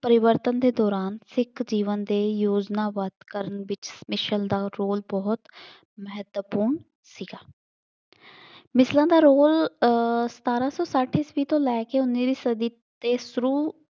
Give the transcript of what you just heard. ਪਰਿਵਰਤਨ ਦੇ ਦੌਰਾਨ ਸਿੱਖ ਜੀਵਨ ਦੇ ਯੋਜਨਾਬੱਧ ਕਰਨ ਵਿੱਚ ਮਿਸਲ ਦਾ role ਬਹੁਤ ਮਹੱਤਵਪੂਰਨ ਸੀਗਾ। ਮਿਸਲਾਂ ਦਾ role ਅਹ ਸਤਾਰਾਂ ਸੌ ਸੱਠ ਈਸਵੀ ਤੋਂ ਲੈ ਕੇ ਉਨੀਵੀਂ ਸਦੀ ਦੇ ਸ਼ੁਰੂ